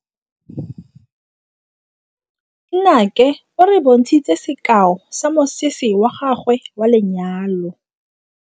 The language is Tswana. Nnake o re bontshitse sekaô sa mosese wa gagwe wa lenyalo.